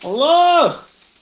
лох